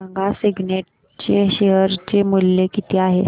सांगा सिग्नेट चे शेअर चे मूल्य किती आहे